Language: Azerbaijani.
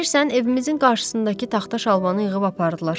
Bilirsən, evimizin qarşısındakı taxta şalbanı yığıb apardılar.